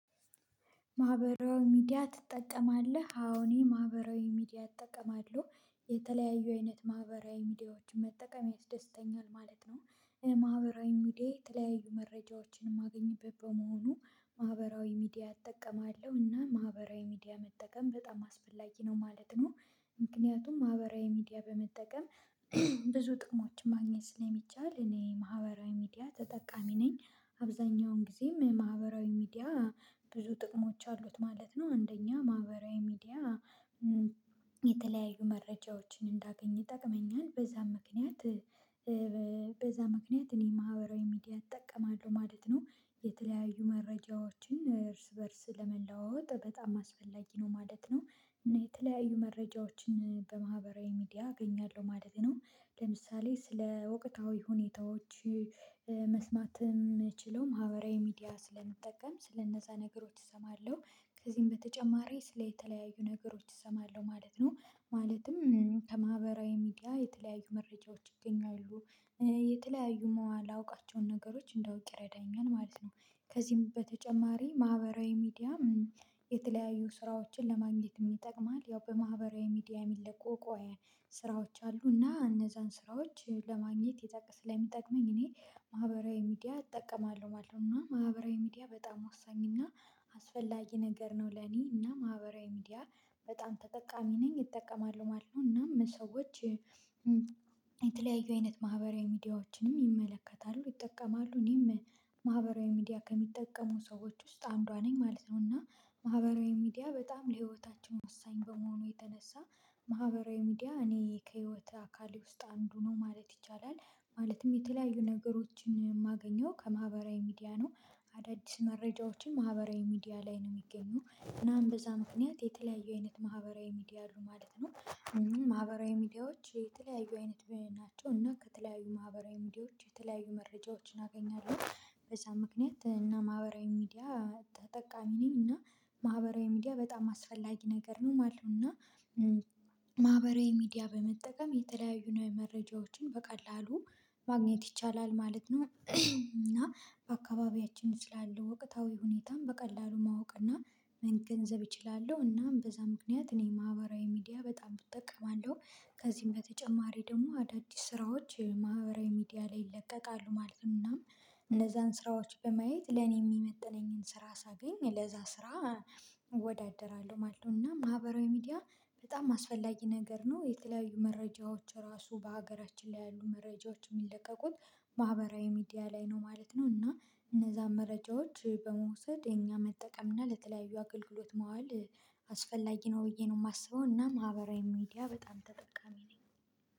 ማህበራዊ ሚዲያ ትጠቀማለህ? አዎ እኔ የማህበራዊ ሚዲያ እጠቀማለሁ የተለያዩ አይነት ማህበራዊ ሚዲያዎችን መጠቀም ያስደስተኛል ማለት ነው፤ ማህበራዊ ሚዲያ የተለያዩ መረጃዎችን የማገኝበት በመሆኑ ማህበራዊ ሚዲያ እጠቀማለሁ እና ማህበራዊ ሚዲያ መጠቀም በጣም አስፈላጊ ነው ማለት ነው ምክንያቱም ማህበራዊ ሚዲያ በመጠቀም ብዙ ጥሞችን ማግኘት ስለሚቻል እኔ ማህበራዊ ሚዲያ ተጠቃሚ ነኝ አብዛኛውን ጊዜም ማህበራዊ ሚዲያ ብዙ ጥቅሞች አሉት ማለት ነው አንደኛ ማህበራዊ ሚዲያ የተለያዩ መረጃዎችን እንዳገኝ ይጠቅመኛል በዛም ምክንያት በዛ ምክንያት እኔ ማህበራዊ ሚዲያ እጠቀማለሁ ማለት ነው፤ የተለያዩ መረጃዎችን እርስ በእርስ ለመለዋወጥ በጣም አስፈላጊ ነው ማለት ነው የተለያዩ መረጃዎችን በማህበራዊ ሚዲያ አገኛለሁ ማለት ነው ለምሳሌ ስለ እውቀታዊ ሁኔታዎች መስማትም የምችለው ማህበራዊ ሚዲያ ስለምጠቀም ስለነዛ ነገሮች እሰማለሁ ከዚህም በተጨማሪ ስለ የተለያዩ ነገሮች እሰማለሁ ማለት ነው ማለትም ከማህበራዊ ሚዲያ የተለያዩ መረጃዎች ይገኛሉ፤ የተለያዩ የማላውቃቸውን ነገሮች እንዳውቅ ይረዳኛል ማለት ነው ከዚህም በተጨማሪ ማህበራዊ ሚዲያ የተለያዩ ስራዎችን ለማግኘትም ይጠቅማል ያው በማህበራዊ ሚዲያ የሚለቀቁ ስራዎች አሉና እነዛን ስራዎች ለማግኘት የታቀስ ስለሚጠቅመኝ እኔ ማህበራዊ ሚዲያ እጠቀማለሁ ማለት ነው እና ማህበራዊ ሚዲያ በጣም ወሳኝ እና አስፈላጊ ነገር ነው ለኔ እና ማህበራዊ ሚዲያ በጣም ተጠቃሚ ነኝ እጠቀማለሁ ማለት ነው እናም ሰዎች የተለያዩ አይነት ማህበራዊ ሚዲያዎችንም ይመለከታሉ ይጠቀማሉ እኔም ማህበራዊ ሚዲያ ከሚጠቀሙ ሰዎች ውስጥ አንዷ ነኝ ማለት ነው እና ማህበራዊ ሚዲያ በጣም ለህይወታችን ወሳኝ በመሆኑ የተነሳ ማህበራዊ ሚዲያ እኔ ከህይወት አካሌ ውስጥ አንዱ ነው ማለት ይቻላል፤ ማለትም የተለያዩ ነገሮችን የማገኘው ከማህበራዊ ሚዲያ ነው አዳዲስ መረጃዎችን ማህበራዊ ሚዲያ ላይ ነው የሚገኙ እናም በዛ ምክንያት የተለያዩ አይነት ማህበራዊ ሚዲያ አሉ ማለት ነው ማህበራዊ ሚዲያዎች የተለያዩ አይነት ናቸው እና ከተለያዩ ማህበራዊ ሚዲያዎች የተለያዩ መረጃዎችን አገኛለሁ በዚያ ምክንያት እና ማህበራዊ ሚዲያ ተጠቃሚ ነኝ እና ማህበራዊ ሚዲያ በጣም አስፈላጊ ነገር ነው ማለት ነው እና ማህበራዊ ሚዲያ በመጠቀም የተለያዩ ንዋይ መረጃዎችን በቀላሉ ማግኘት ይቻላል ማለት ነው እና በአካባቢያችን ስላለው ወቅታዊ ሁኔታም በቀላሉ ማወቅ እና መገንዘብ እችላለሁ እናም በዛ ምክንያት እኔ ማህበራዊ ሚዲያ በጣም እጠቀማለሁ ከዚህም በተጨማሪ ደግሞ አዳዲስ ስራዎች ማህበራዊ ሚዲያ ላይ ይለቀቃሉ ማለት ነው እናም እነዛን ስራዎች በማየት ለኔ የሚመጥነኝን ስራ ሳገኝ ለዛ ስራ እወዳደራለሁ ማለት ነው እና ማህበራዊ ሚዲያ በጣም አስፈላጊ ነገር ነው የተለያዩ መረጃዎች ራሱ በሀገራችን ላይ ያሉ መረጃዎች የሚለቀቁት ማህበራዊ ሚዲያ ላይ ነው ማለት ነው እና እነዛን መረጃዎች በመውሰድ የኛ መጠቀም እና ለተለያዩ አገልግሎት መዋል አስፈላጊ ነው ብዬ ነው የማስበው እና ማህበራዊ ሚዲያ በጣም ተጠቃሚ ነኝ።